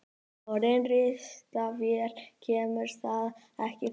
Orðið ristavél kemur þar ekki fyrir.